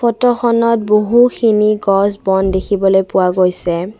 ফটোখনত বহুখিনি গছ বন দেখিবলৈ পোৱা গৈছে।